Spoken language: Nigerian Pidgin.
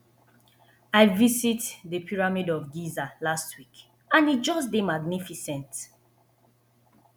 i visit the pyramid of giza last week and e just dey magnificent